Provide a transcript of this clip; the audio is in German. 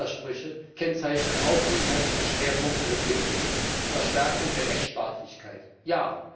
Widersprüche kennzeichnen auch die inhaltlichen Schwerpunkte des Gipfels Verstärkung der Rechtsstaatlichkeit ja.